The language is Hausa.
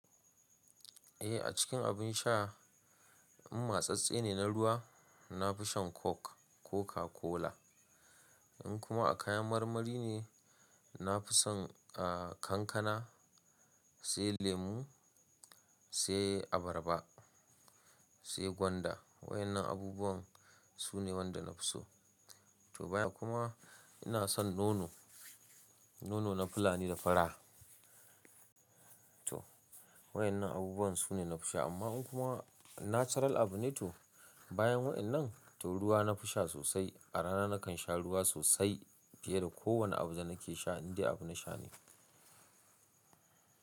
Eh a cikin abin sha in matsatsse ne na ruwa, na fi shan Coke, Coca-Cola. In kuma a kayan marmari ne, na fi son, a, kankana, sai lemu, sai abarba, sai gwanda. Wayannan abubuwan su ne waɗanda na fi so. To baya kuma ina son nono, nono na fulani da fura. To wayannan abubuwan su ne na fi sha amma in kuma natural abu ne to bayan wayannan, to ruwa na fi sha sosai. A rana nakan sha ruwa sosai fiye da kowane abu da nake sha, indai abu na sha ne.